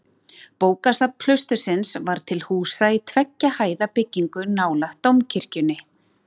Bókasafn klaustursins var til húsa í tveggja hæða byggingu nálægt dómkirkjunni.